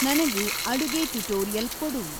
ನನಗೆ ಅಡುಗೆ ಟ್ಯುಟೋರಿಯಲ್ ಕೊಡು